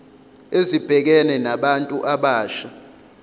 ezibhekene nabantu abasha